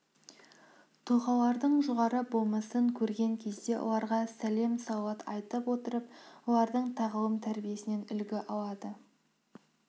тұлғалардың жоғарғы болмысын көрген кезде оларға сәлем салауат айтып олардың тағылым тәрбиесінен үлгі алады